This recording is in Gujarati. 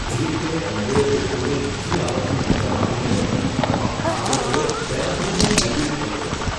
જે રીતે એમવે લોકોને બીજી આવકનું વચન આપીને તેમની જાળમાં ફસાવે છે, તેનાથી હું ભયભીત થઇ ગયો છું.